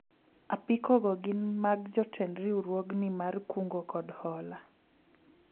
apiko go gin mag jotend riwruogni mar kungo kod hola